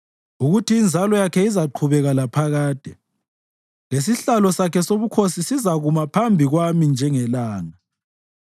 ukuthi inzalo yakhe izaqhubeka laphakade lesihlalo sakhe sobukhosi sizakuma phambi kwami njengelanga;